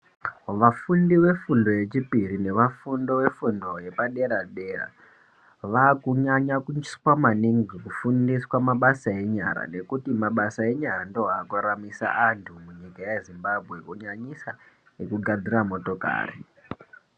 Vafundi wefundo yepiri nevafundi wefundo yepadera dera kunyanya maningi kufundiswa mabasa enyara nekuti mabasa enyara ndiwo akuraramisa antu munyika yezimbabwe kunyanyisa ekugadzira motokari.